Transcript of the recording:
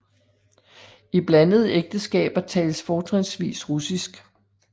I blandede ægteskaber tales fortrinsvis russisk